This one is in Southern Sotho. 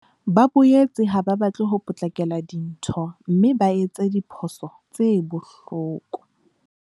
Ba boetse ha ba batle ho potlakela dintho mme ba etse diphoso tse bohloko.